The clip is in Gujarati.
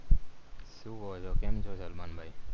શું કવો છો કેમ છો સલમાનભાઇ